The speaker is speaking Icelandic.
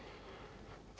þær